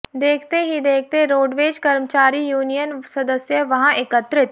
देखते ही देखते रोडवेज कर्मचारी यूनियन सदस्य वहां एकत्रित